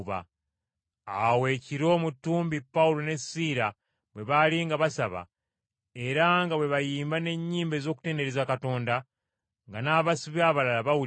Awo ekiro mu ttumbi Pawulo ne Siira bwe baali nga basaba, era nga bwe bayimba n’ennyimba ez’okutendereza Katonda, nga n’abasibe abalala bawuliriza,